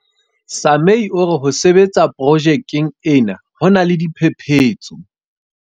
Sumay o re ho sebetsa pro jekeng ena ho na le diphephetso.